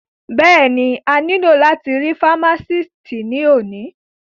Bẹ́ẹ̀ni, a ní lò láti rí fámásìtì ní òní